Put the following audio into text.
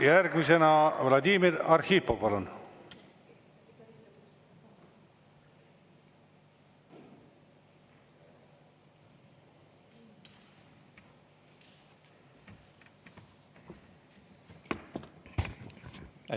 Järgmisena Vladimir Arhipov, palun!